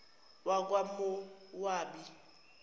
wakwamowabi